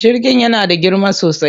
Jirgin yana da girma sosai.